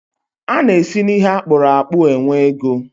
A na-esi n'ihe akpụrụ akpu e nwee ego.